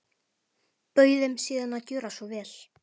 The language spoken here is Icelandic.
Bauð þeim síðan að gjöra svo vel.